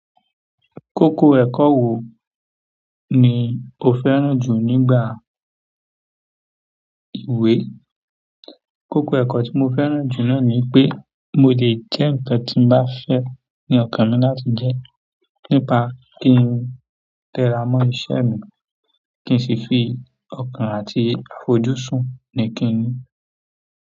Kókó ẹ̀kọ́ wo ni o fẹ́ràn jù nígbà ìwé? Nígbà kan oun tí mo fẹ́ràn na ni wípé mo jẹ́ ke ǹkan tí mo bá fẹ́ ni ọkàn mi láti jẹ nípa kí ń tẹra mọ́ iṣẹ́ mi kí ń sì fi ọkàn àti àfojúsùn ni kí n ní.